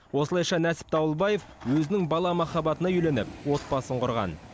осылайша нәсіп дауылбаев өзінің бала махаббатына үйленіп отбасын құрған